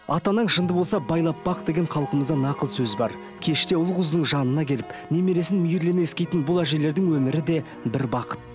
ата анаң жынды болса байлап бақ деген халқымызда нақыл сөз бар кеште ұл қыздың жанына келіп немересін мейірлене иіскейтін бұл әжелердің өмірі де бір бақыт